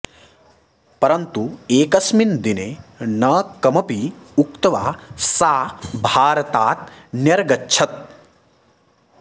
परन्तु एकस्मिन् दिने न कमपि उक्त्वा सा भारतात् न्यर्गच्छत्